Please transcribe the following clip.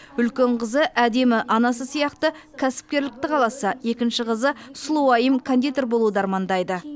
үлкен қызы әдемі анасы сияқты кәсіпкерлікті қаласа екінші қызы сұлуайым кондитер болуды армандайды